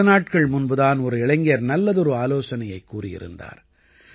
சில நாட்கள் முன்பு தான் ஒரு இளைஞர் நல்லதொரு ஆலோசனையைக் கூறியிருந்தார்